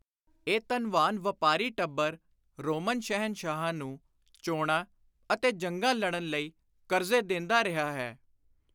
ਇਹ ਧਨਵਾਨ ਵਾਪਾਰੀ ਟੱਬਰ ਰੋਮਨ ਸ਼ਹਿਨਸ਼ਾਹਾਂ ਨੂੰ ਚੋਣਾਂ ਅਤੇ ਜੰਗਾਂ ਲੜਨ ਲਈ ਕਰਜ਼ੇ ਦੇਂਦਾ ਰਿਹਾ ਹੈ।